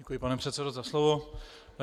Děkuji, pane předsedo, za slovo.